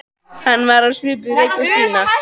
Hann var á svipuðu reki og Stína.